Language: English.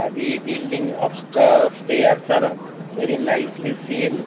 building upsta upstair stairs are very nicely seen.